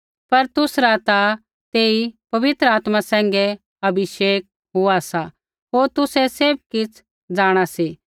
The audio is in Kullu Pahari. पर तूसरा ता तेई पवित्र आत्मा सैंघै अभिषेक हुआ सा होर तुसै सैभ किछ़ जाँणा सी